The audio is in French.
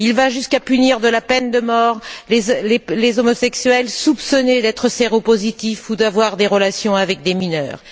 Il va jusqu'à punir de la peine de morts les homosexuels soupçonnés d'être séropositifs ou soupçonnés d'avoir des relations avec des mineurs.